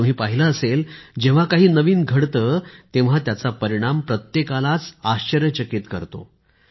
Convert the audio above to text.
आणि तुम्ही पाहिलं असेल जेव्हा काही नवीन घडते तेव्हा त्याचा परिणाम प्रत्येकालाच आश्चर्यचकित करतो